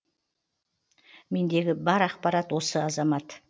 мендегі бар ақпарат осы азамат